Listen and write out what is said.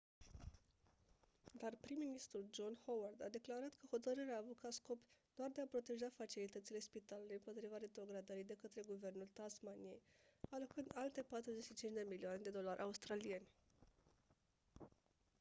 dar prim-ministrul john howard a declarat că hotărârea a avut ca scop doar de a proteja facilitățile spitalului împotriva retrogradării de către guvernul tasmaniei alocând alte 45 de milioane de dolari australieni